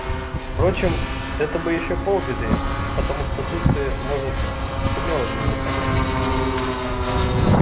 впрочем это бы ещё полбеды потому что тут ты может сумела бы его понять